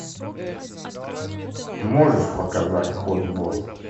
можешь показать хот бот